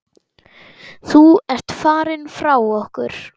Þú ert farinn frá okkur.